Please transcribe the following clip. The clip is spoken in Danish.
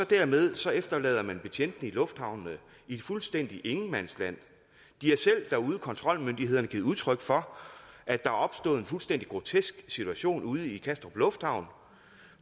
dermed efterlader man betjentene i lufthavnen fuldstændig i ingenmandsland kontrolmyndighederne givet udtryk for at der er opstået en fuldstændig grotesk situation ude i kastrup lufthavn